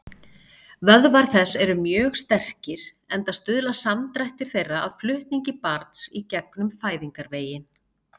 Vöðvar þess eru mjög sterkir, enda stuðla samdrættir þeirra að flutningi barns í gegnum fæðingarveginn.